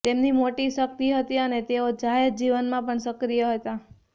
તેમની મોટી શક્તિ હતી અને તેઓ જાહેરજીવનમાં પણ સક્રિય હતા